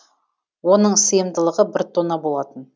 оның сыйымдылығы бір тонна болатын